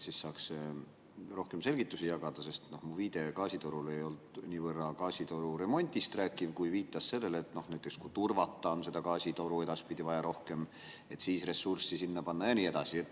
Siis saaks rohkem selgitusi jagada, sest mu viide gaasitorule ei olnud niivõrd gaasitoru remondist rääkiv, kui viitas sellele, et näiteks kui turvata gaasitoru edaspidi, siis on vaja rohkem ressursse sinna panna ja nii edasi.